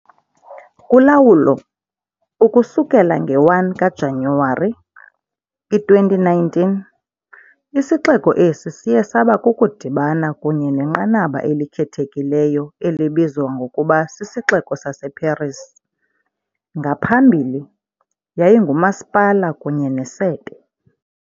Kulawulo, ukusukela nge-1 kaJanuwari, i-2019, isixeko esi siye saba kukudibana kunye nenqanaba elikhethekileyo elibizwa ngokuba "sisiXeko saseParis", ngaphambili, yayingumasipala kunye nesebe.